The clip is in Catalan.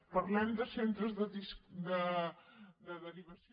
parlem de centres de derivació